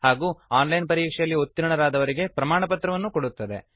ಹಾಗೂ online ಪರೀಕ್ಷೆಯಲ್ಲಿ ಉತ್ತೀರ್ಣರಾದವರಿಗೆ ಪ್ರಮಾಣಪತ್ರವನ್ನು ಕೊಡುತ್ತದೆ